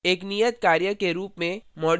एक नियतकार्य के रूप में: